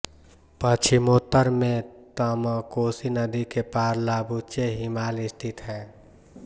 पश्चिमोत्तर में तमकोसी नदी के पार लाबुचे हिमाल स्थित है